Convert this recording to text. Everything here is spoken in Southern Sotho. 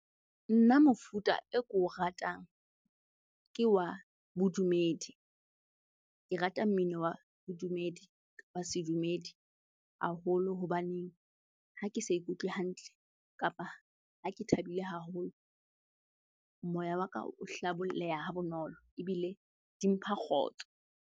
Nna mofuta e ko ratang ke wa bodumedi. Ke rata mmino wa bodumedi, wa sedumedi haholo hobaneng ha ke sa ikutlwe hantle kapa ha ke thabile haholo, moya wa ka o hlabolleha ha bonolo ebile di mpha kgotso.